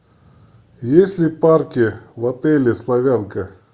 есть ли парки в отеле славянка